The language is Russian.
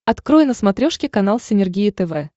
открой на смотрешке канал синергия тв